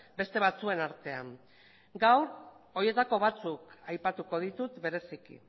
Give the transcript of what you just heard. beste batzuen artean gaur horietako batzuk aipatuko ditut bereziki